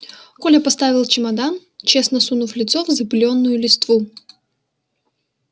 коля поставил чемодан честно сунув лицо в запылённую листву